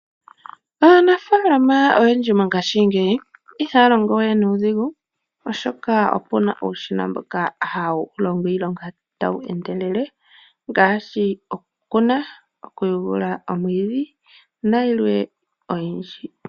Aanafaalama oyendji mongashingeyi ihaya longo we nuudhigu oshoka opuna uushina mboka hawu longo iilonga tawu endelele ngaashi, okukuna, okuyugula omwiidhi nayilwe oyindji.